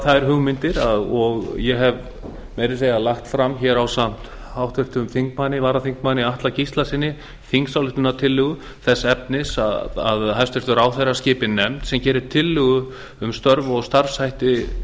þær hugmyndir og ég hef meira að segja lagt fram hér ásamt háttvirtum þingmanni varaþingmanni atla gíslasyni þingsályktunartillögu þess efnis að hæstvirtur ráðherra skipi nefnd sem geri tillögu um störf og starfshætti